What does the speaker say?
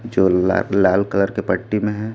जो ला लाल कलर के पट्टी में है।